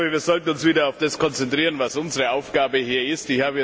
Wir sollten uns wieder auf das konzentrieren, was unsere Aufgabe hier ist.